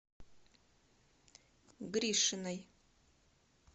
гришиной